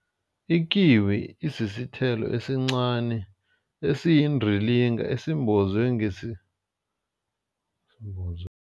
Ikiwi isisithelo esincani esiyindilinga esimbozwe